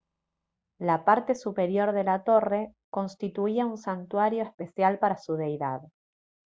la parte superior de la torre constituía un santuario especial para su deidad